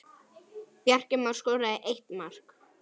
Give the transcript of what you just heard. Bjarki Már skoraði eitt mark.